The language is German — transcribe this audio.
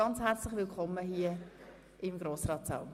Ganz herzlich willkommen hier im Grossratssaal.